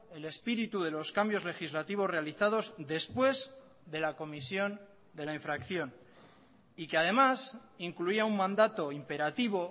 el espíritu de los cambios legislativos realizados después de la comisión de la infracción y que además incluía un mandato imperativo